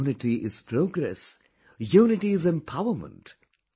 Unity is Progress, Unity is Empowerment,